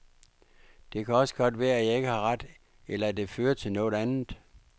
Det kan også godt være, at jeg ikke har ret, eller at det fører til noget andet.